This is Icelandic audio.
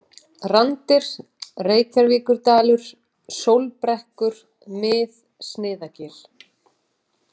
Randir, Reykjarvíkurdalur, Sólbrekkur, Mið-Sniðagil